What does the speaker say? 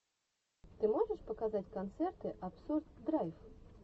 ты можешь показать концерты абсурд драйв